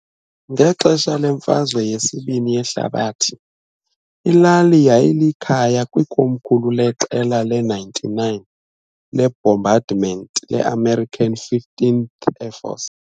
Ngexesha leMfazwe yesiBini yeHlabathi, ilali yayilikhaya kwikomkhulu leQela le-99 leBombardment le-American 15th Air Force.